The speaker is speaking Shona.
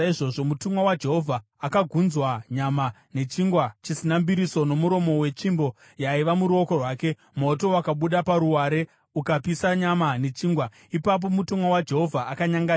Mutumwa waJehovha akagunzva nyama nechingwa chisina mbiriso nomuromo wetsvimbo yaiva muruoko rwake. Moto wakabuda paruware, ukapisa nyama nechingwa. Ipapo mutumwa waJehovha akanyangarika.